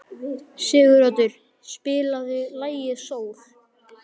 Siguroddur, spilaðu lagið „Sól“.